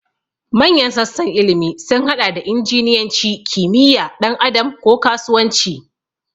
Manyan sassan ilimi sun haɗa da injiniyanci, kimiyya, ɗan adam, ko kasuwanci.